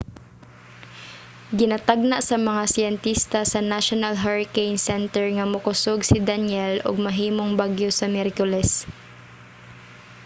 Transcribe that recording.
ginatagna sa mga siyentista sa national hurricane center nga mokusog si danielle ug mahimong bagyo sa miyerkules